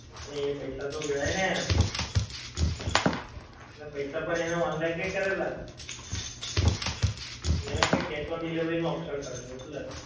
અરે એ પૈસા તો ગયા ને. અરે પૈસા પણ એણે online કયાં કરેલાં. એણે કઈ cash on delivery નું option કરેલું એટલે.